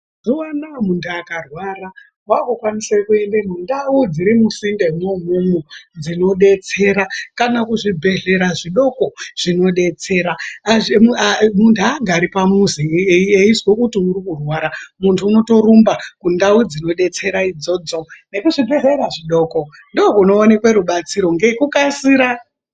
Mazuwa anoaya muntu akarwara wakukwanisa kuenda mundau dziri misinde imwomwo dzinodetsera kana kuzvibhehlera zvidoko zvinodetsera ,mundhu haagari pamuzi eizwa kuti uri kurwara. Mundhu unotorumba kundau dzirinodetsera idzodzo nekuzvibhehlera zvidoko ndokunooneka rubatsiro ngekukasira.